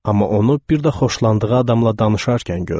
Amma onu bir də xoşlandığı adamla danışarkən görün.